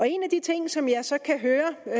en af de ting som jeg så kan høre